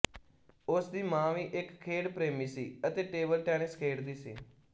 ਉਸ ਦੀ ਮਾਂ ਵੀ ਇੱਕ ਖੇਡ ਪ੍ਰੇਮੀ ਸੀ ਅਤੇ ਟੇਬਲ ਟੈਨਿਸ ਖੇਡਦੀ ਸੀ